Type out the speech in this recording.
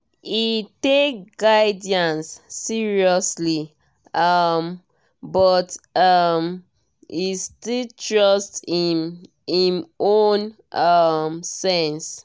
e take guidance seriously um but um e still trust im im own um sense.